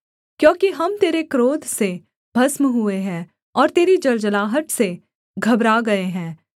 क्योंकि हम तेरे क्रोध से भस्म हुए हैं और तेरी जलजलाहट से घबरा गए हैं